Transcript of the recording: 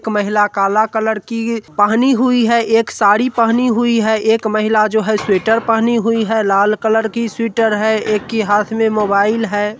एक महिला काला कलर की पहनी हुए है एक साड़ी पहनी हुई है एक माहिला जो है स्वेटर पहनी हुई है लाल कलर की स्वेटर है एक की हाथ में मोबाइल है।